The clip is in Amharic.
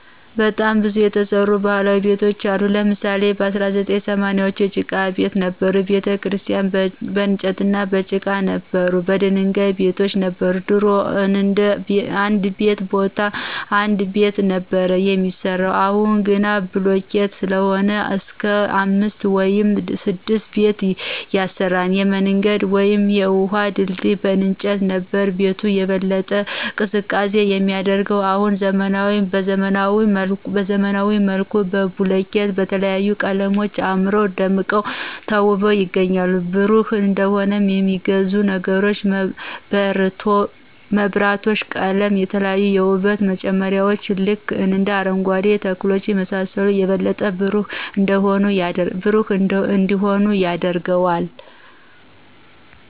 በጣም ብዙ የተረሱ ባህላዊ ቤቶች አሉ ለምሳሌ በ1980ዎቹ የጭቃ ቤት ነበሩ፣ ቤተክርስቲያን በንጨትና በጭቃ ነበሩ፣ የድንጋይ ቤቶች ነበር፣ ድሮ እንድ ቤ ቦታ አንድ ቤት ነበር ሚያሰራው አሁን ግን በቡልኬት ሰለሆነ እስክ አምስት ውይም ስድስት ቤት ያሰራል፣ የምንገድ ውይም የውሀ ድልድይ በእንጨት ነበር። ቤቱን የበለጠ ቀዝቃዛ የሚያደርገው አሁን በዘመናዊ መልኩ በቡልኬት በተለያዩ ቀለሞች አምረው ደምቀው ተውበው ይገኛሉ። ብሩህ እንዲሆን የሚያግዙ ነገሮች መብራቶች፣ ቀለም፣ የተለያዩ የውበት መጨመርያዎች ልክ እንደ አረንጓኬ ተክሎች የመሳሰሉት የበለጠ ብሩህ እንዲሆን ያደርገዋል።